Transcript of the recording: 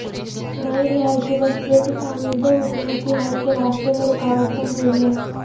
نئی رہائشی بستیوں کی تعمیر دو حکومتی حل کے راستے میں رکاوٹ بن رہی ہے